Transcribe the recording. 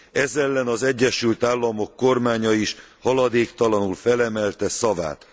Ez ellen ez Egyesült Államok kormánya is haladéktalanul felemelte szavát.